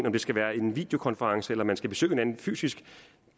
om det skal være en videokonference eller om man skal besøge hinanden fysisk